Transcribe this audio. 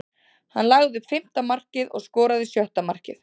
Hann lagði upp fimmta markið og skoraði sjötta markið.